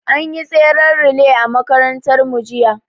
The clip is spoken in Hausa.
An yi tsaren relay a makarantar mu jiya